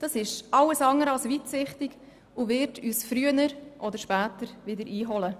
Dies ist alles andere als weitsichtig und wird uns früher oder später wieder einholen.